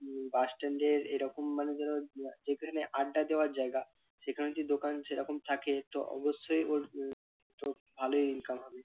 উহ bus stand এর এরকম মানে ধরো যেখানে আড্ডা দেওয়ার জায়গা সেখানে যদি দোকান সেরকম থাকে তো অবশ্যই ওর উম তো ভালোই income হবে